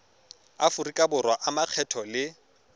aforika borwa a makgetho le